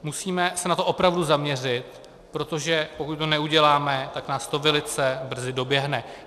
Musíme se na to opravdu zaměřit, protože pokud to neuděláme, tak nás to velice brzy doběhne.